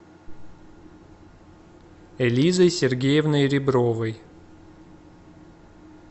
элизой сергеевной ребровой